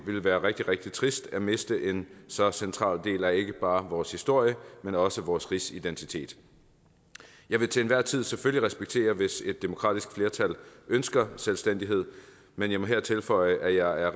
ville være rigtig rigtig trist at miste en så central del af ikke bare vores historie men også vores rigsidentitet jeg vil til enhver tid selvfølgelig respektere det hvis et demokratisk flertal ønsker selvstændighed men jeg må her tilføje at jeg